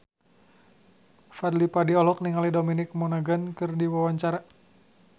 Fadly Padi olohok ningali Dominic Monaghan keur diwawancara